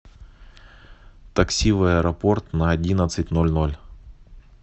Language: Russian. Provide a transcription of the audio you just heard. такси в аэропорт на одиннадцать ноль ноль